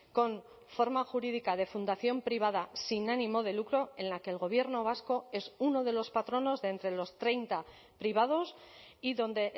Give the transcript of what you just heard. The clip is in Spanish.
con forma jurídica de fundación privada sin ánimo de lucro en la que el gobierno vasco es uno de los patronos de entre los treinta privados y donde